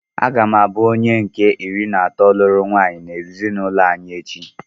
Aga m abụ onye nke iri na atọ lụrụ nwaanyị n'ezinụlọ anyị echi.